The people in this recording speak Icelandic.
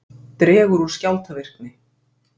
Dregur úr skjálftavirkni